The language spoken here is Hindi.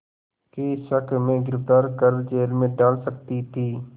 के शक में गिरफ़्तार कर जेल में डाल सकती थी